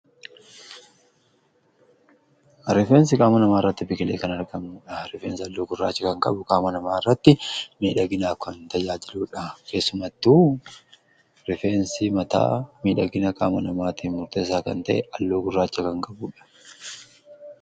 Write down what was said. Rifeensi qaama namaa irratti biqilee kan argamuudha. Rifeensi halluu gurraacha kan qabu qaama namaa irratti miidhaginaa kan tajaajiluudha. Keessumattu rifeensi mataa miidhagina qaama namaa tiif murteesaa kan ta'e halluu gurraacha kan qabuudha.